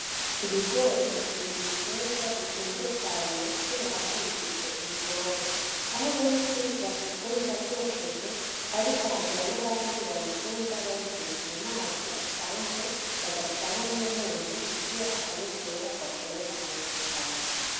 Ibigori biri mu bitegwa bikunzwe cane kubera ko bifise uburyohe, aho benshi babikunda vyokeje ariko hakagira n’abandi babikunda babitetse mu mazi asanzwe bagashiramwo n’umunyu kugira akanovera gashobore kwongerekana.